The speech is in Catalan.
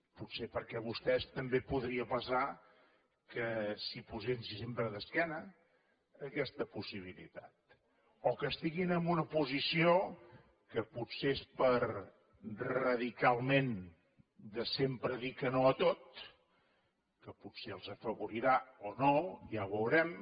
potser perquè vostès també podria passar que s’hi posessin sempre d’esquena a aquesta possibilitat o que estiguin en una posició que potser és per radicalment sempre dir que no a tot que potser els afavorirà o no ja ho veurem